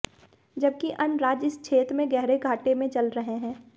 जबकि अन्य राज्य इस क्षेत्र में गहरे घाटे में चल रहे हैं